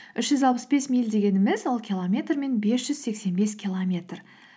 үш жүз алпыс бес миль дегеніміз ол километрмен бес жүз сексен бес километр